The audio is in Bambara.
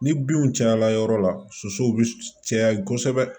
Ni binw cayala yɔrɔ la sosow be caya kosɛbɛ